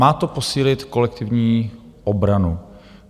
Má to posílit kolektivní obranu.